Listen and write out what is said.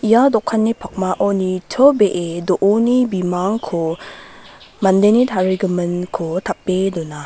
ia dokanni pakmao nitobee do·oni bimangko mandeni tarigiminko tape dona.